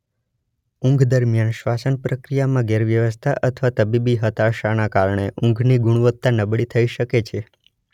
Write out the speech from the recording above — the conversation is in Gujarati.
ઊંઘ દરમિયાન શ્વાસનપ્રક્રિયામાં ગેરવ્યવસ્થા અથવા તબીબી હતાશાના કારણે ઊંઘની ગુણવત્તા નબળી થઈ શકે છે.